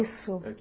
Isso.